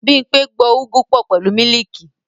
Bímpé gbo Ugwu pọ pẹ̀lú mílìkì